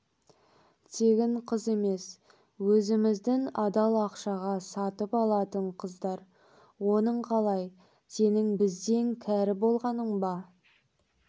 тегін қыз емес өзіміздің адал ақшаға сатып алатын қыздар оның қалай сенің бізден кәрі болғаның ба